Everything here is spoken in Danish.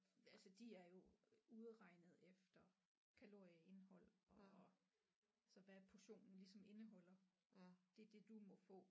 Altså de er jo udregnet efter kalorieindhold og og så hvad portionen ligesom indeholder det det du må få